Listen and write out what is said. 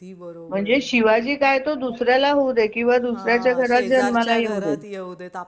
म्हणजे शिवाजी काय तो दुसऱ्याला होऊ देत किंवा दुसऱ्याच्या घरात जन्माला येऊ देत शेजारच्या घरात जन्माला येऊ देत